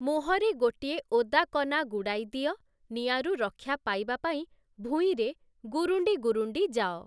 ମୁଁହରେ ଗୋଟିଏ ଓଦାକନା ଗୁଡ଼ାଇ ଦିଅ ନିଆଁରୁ ରକ୍ଷା ପାଇବା ପାଇଁ ଭୂଇଁରେ ଗୁରୁଣ୍ଡି ଗୁରୁଣ୍ଡି ଯାଅ ।